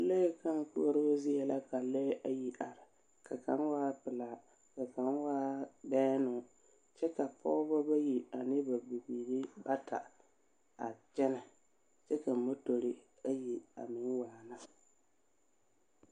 Lɔɛ kãã koɔroo zie la ka lɔɛɛ ayi are, ka kaŋ waa pelaa, ka kaŋ waa bɛɛnoo, kyɛ ka Pɔgeba bayi ane ba bibiiri bata a kyɛnɛ. Kyɛ ka motori ayi a meŋ waana.